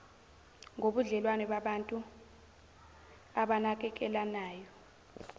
ngobudlelwano babantu abanakekelanayo